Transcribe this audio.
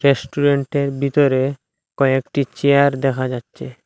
রেস্টুরেন্টের ভিতরে কয়েকটি চেয়ার দেখা যাচ্ছে।